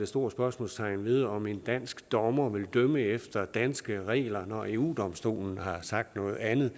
stort spørgsmålstegn ved om en dansk dommer vil dømme efter danske regler når eu domstolen har sagt noget andet